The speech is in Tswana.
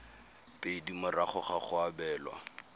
pedi morago ga go abelwa